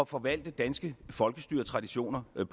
forvalte danske folkestyretraditioner på